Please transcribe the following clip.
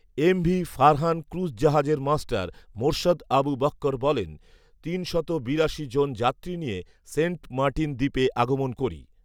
MV Farhan cruise জাহাজের master Morshed Abu Bakkar বলেন, তিনশত যাত্রী বিরাশি জন যাত্রী নিয়ে সেন্ট মাটিন দ্বীপে আগমন করি